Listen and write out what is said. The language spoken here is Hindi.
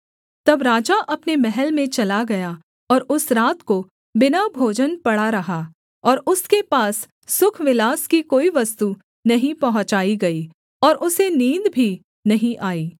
तब राजा अपने महल में चला गया और उस रात को बिना भोजन पड़ा रहा और उसके पास सुखविलास की कोई वस्तु नहीं पहुँचाई गई और उसे नींद भी नहीं आई